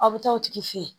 Aw bɛ taa o tigi fɛ yen